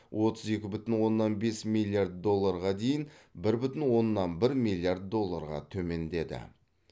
отыз екі бүтін оннан бес миллиард долларға дейін бір бүтін оннан бір миллиард долларға төмендеді